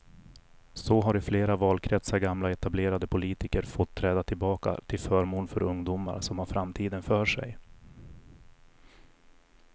Så har i flera valkretsar gamla etablerade politiker fått träda tillbaka till förmån för ungdomar som har framtiden för sig.